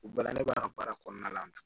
U baara ne b'a baara kɔnɔna la